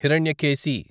Hiranyakeshi